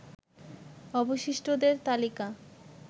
অবশিষ্টদের তালিকা